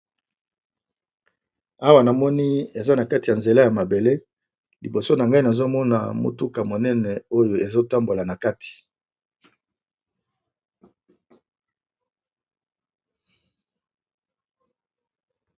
Awa namoni eza na nzela ya mabele liboso nangai nazomona mutuka oyo ezo tambola monene oyo ezo tambola na kati.